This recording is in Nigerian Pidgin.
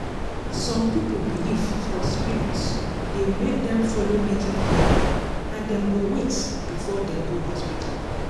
some people belief for spirit dey make dem follow native healing and dem go wait before dem go hospital.